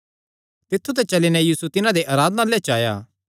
तित्थु ते चली नैं यीशु तिन्हां दे आराधनालय च आया